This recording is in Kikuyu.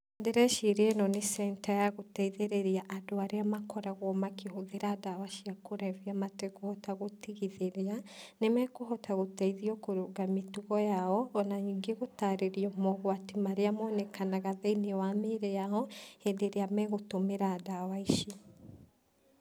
Ndĩreciria ĩno nĩ center ya gũteithĩrĩria andũ arĩa makoragwo makĩhũthĩra ndawa cia kũrebia matekũhota gũtigithĩria. Nĩmekũhota gũteithio kũrũnga mĩtugo yao o na ningĩ gũtarĩrio maũgwati marĩa monekanaga thĩiniĩ wa mĩĩrĩ yao hĩndĩ ĩrĩa megũtũmĩra ndawa icio.